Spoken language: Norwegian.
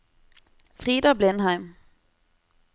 Frida Blindheim